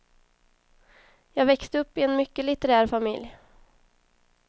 Jag växte upp i en mycket litterär familj.